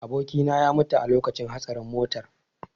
Abokina ya mutu a lokacin hatsarin motar.